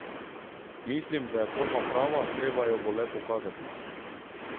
Mislim, da je forma prava, treba jo bo le pokazati.